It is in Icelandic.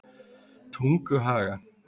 Tunguhaga